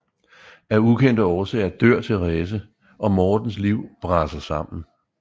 Af ukendte årsager dør Therese og Mortens liv braser sammen